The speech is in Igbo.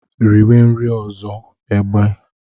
Riwe nri ọzọ, egbe!